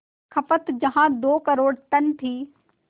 खपत जहां दो करोड़ टन थी